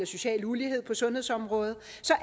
social ulighed på sundhedsområdet